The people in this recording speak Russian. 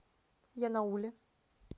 янауле